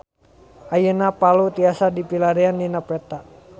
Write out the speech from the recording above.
Ayeuna Palu tiasa dipilarian dina peta